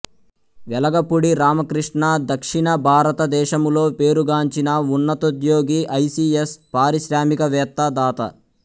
వెలగపూడి రామకృష్ణ దక్షిణ భారతదేశములో పేరుగాంచిన ఉన్నతోద్యోగి ఐ సి యస్ పారిశ్రామికవేత్త దాత